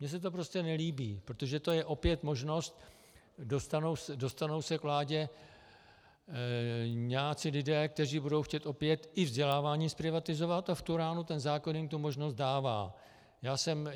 Mně se to prostě nelíbí, protože to je opět možnost - dostanou se k vládě nějací lidé, kteří budou chtít opět i vzdělávání zprivatizovat, a v tu ránu ten zákon jim tu možnost dává.